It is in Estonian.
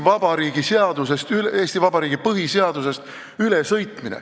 ... ja Eesti Vabariigi põhiseadusest ülesõitmine.